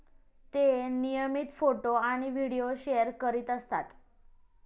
ते नियमित फोटो आणि व्हिडीओ शेअर करीत असतात.